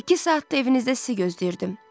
İki saatdır evinizdə sizi gözləyirdim.